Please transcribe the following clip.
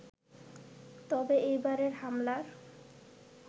তবে এবারের হামলার